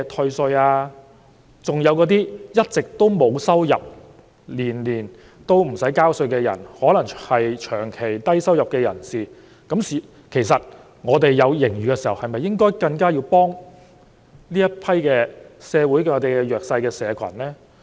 其實，社會上還有些一直沒有收入，每年也不用繳稅的人，他們可能是長期低收入入士，當政府有盈餘的時候，是否更應該幫助社會上更弱勢的社群？